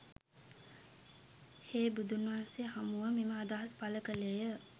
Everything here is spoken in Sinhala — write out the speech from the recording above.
හේ බුදුන්වහන්සේ හමුව මෙම අදහස් පළ කළේ ය.